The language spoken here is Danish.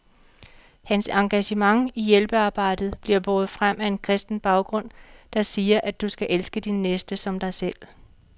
Hans engagement i hjælpearbejdet bliver båret frem af en kristen baggrund, der siger, at du skal elske din næste som dig selv.